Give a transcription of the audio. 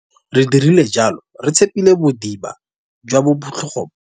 Re dirile jalo re itshepile bodiba jwa botlhogo.